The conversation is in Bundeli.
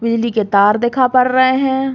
बिजली के तार दिखा पर रहे हैं।